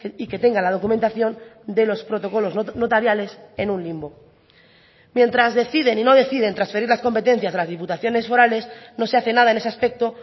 y que tenga la documentación de los protocolos notariales en un limbo mientras deciden y no deciden transferir las competencias de las diputaciones forales no se hace nada en ese aspecto